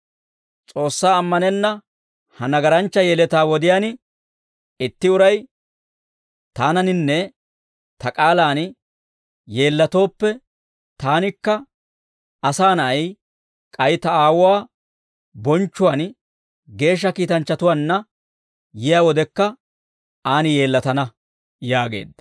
S'oossaa ammanenna ha nagaranchcha yeletaa wodiyaan, itti uray taananinne ta k'aalaan yeellatooppe, taanikka, Asaa Na'ay, k'ay ta Aawuwaa bonchchuwaan geeshsha kiitanchchatuwaanna yiyaa wodekka, aan yeellatana» yaageedda.